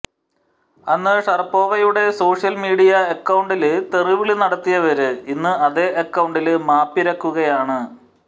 അന്ന് ഷറപ്പോവയുടെ social media അക്കൌണ്ടില് തെറി വിളി നടത്തിയവര് ഇന്ന് അതേ അക്കൌണ്ടില് മാപ്പിരക്കുകയാണ്